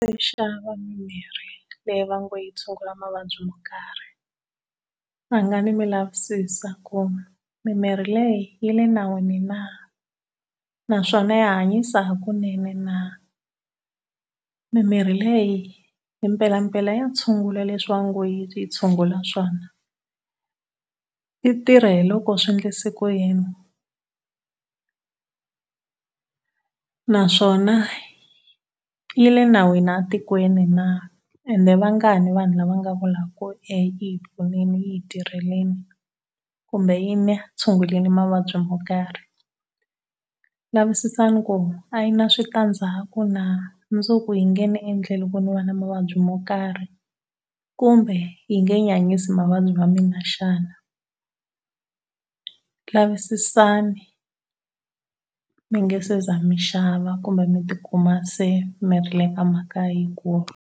xava mimirhi leyi va ngo yi tshungula mavabyi yo karhi rhangani mi lavisisa ku mimirhi leyi yi le nawini na, naswona ya hanyisa hakunene na. Mimirhi leyi i mpelampela ya tshungula leswi va ngo yi tshungula swona? Yi tirha hi loko swi endlise ku yini? Naswona yi le nawini etikweni na ende i vangani vanhu lava nga vulaka ku eya yi hi pfunile yi hi tirhlelile kumbe yi ni tshungurile mavabyi mo karhi. Lavisisani ku a yi na switandzhaku na, mundzuku yi nge ni endleli ku ni va na mavabyi mo karhi kumbe yi nge nyanyisi mavabyi ma mina xana. Lavisisani mi nga se za mi xava kumbe mi ti kuma se miri le ka mhaka yikulu.